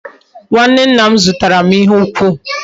Nwanne nna m zutaram ihe ukwu